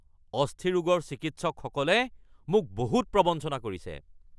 অস্থিৰোগৰ চিকিৎসকসকলে মোক বহুত প্ৰৱঞ্চনা কৰিছে